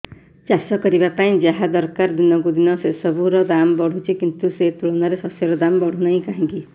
ଚାଷ କରିବା ପାଇଁ ଯାହା ଦରକାର ଦିନକୁ ଦିନ ସେସବୁ ର ଦାମ୍ ବଢୁଛି କିନ୍ତୁ ସେ ତୁଳନାରେ ଶସ୍ୟର ଦାମ୍ ବଢୁନାହିଁ କାହିଁକି